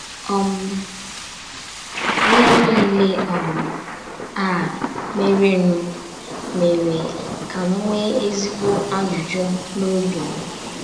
um Ihe niile um a merenụ mere ka m nwee ezigbo ajụjụ n’obi m.